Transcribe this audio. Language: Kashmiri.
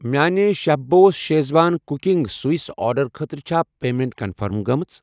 میانہِِ chef boss schezwan cooking sauce آرڈرٕ خٲطرٕ چھا پیمیٚنٹ کنفٔرم گٔمٕژ؟